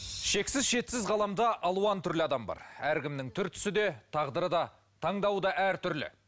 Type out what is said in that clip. шексіз шетсіз ғаламда алуан түрлі адам бар әркімнің түр түсі де тағдыры да таңдауы да әртүрлі